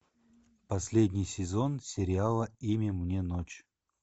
последний сезон сериала имя мне ночь